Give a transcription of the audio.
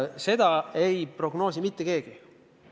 Seda ei prognoosi mitte keegi.